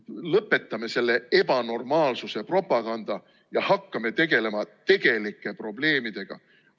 Lõpetame selle ebanormaalsuse propaganda ja hakkame tegelema tegelike probleemidega.